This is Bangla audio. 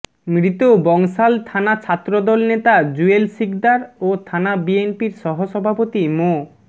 মৃত বংশাল থানা ছাত্রদল নেতা জুয়েল শিকদার ও থানা বিএনপির সহসভাপতি মো